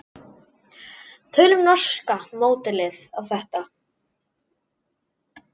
Tökum norska módelið á þetta.